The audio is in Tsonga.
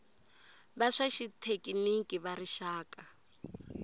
va swa xithekiniki va rixaka